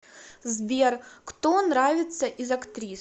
сбер кто нравится из актрис